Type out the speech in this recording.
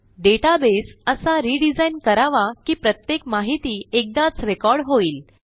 database असा redesign करावा की प्रत्येक माहिती एकदाच रेकॉर्ड होईल